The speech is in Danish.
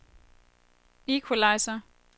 equalizer